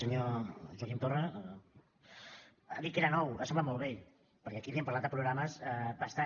senyor joaquim torra ha dit que era nou ha semblat molt vell perquè aquí li hem parlat de programes bastant